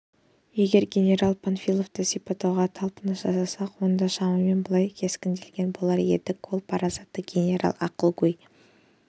егер генерал панфиловты сипаттауға талпыныс жасасақ онда шамамен былай кескіндеген болар едік ол парасатты генерал ақылгөй